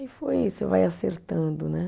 Aí foi isso, vai acertando, né?